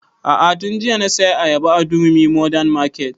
A'a tun jiya na saya ayaba a durumi modern market